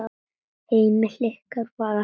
Heimili ykkar var alltaf heim.